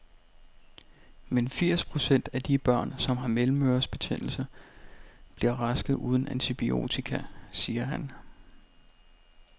Men firs procent af de børn, som har mellemørebetændelse, bliver raske uden antibiotika, siger han.